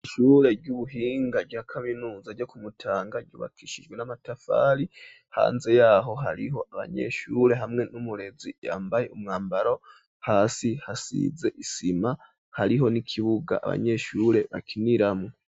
Ishure ry'ubuhinga rya kaminuza ryo ku Mutanga yubakishijwe n'amatafari, hanze yaho hariho abanyeshure hamwe n'umurezi yambaye umwambaro hasi hasize isima hariho n'ikibuga abanyeshure bakiniramo.